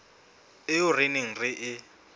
eo re neng re e